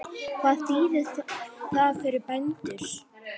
Hvað þýðir það fyrir bændur?